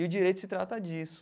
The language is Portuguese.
E o direito se trata disso.